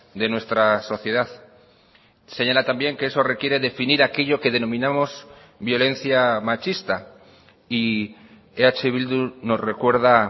de nuestra sociedad señala también que eso requiere definir aquello que denominamos violencia machista y eh bildu nos recuerda